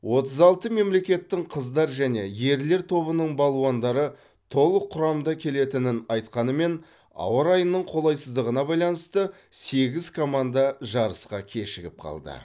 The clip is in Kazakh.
отыз алты мемлекеттің қыздар және ерлер тобының балуандары толық құрамда келетінін айтқанымен ауа райының қолайсыздығына байланысты сегіз команда жарысқа кешігіп қалды